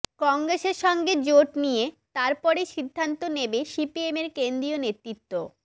কংগ্রেসের সঙ্গে জোট নিয়ে তারপরই সিদ্ধান্ত নেবে সিপিএমের কেন্দ্রীয় নেতৃত্ব